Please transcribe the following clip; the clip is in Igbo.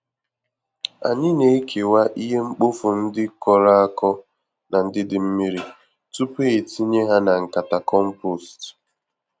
Anyị na-ekewa ihe mkpofu ndị kọrọ-akọ na ndị dị mmiri, tupu e tinye ha na nkata compost.